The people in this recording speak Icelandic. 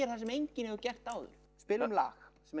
það sem enginn hefur gert áður spilum lag sem